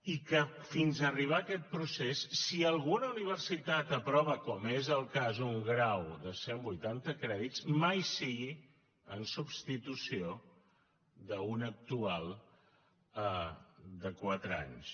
i que fins arribar a aquest procés si alguna universitat aprova com és el cas un grau de cent vuitanta crèdits mai sigui en substitució d’un actual de quatre anys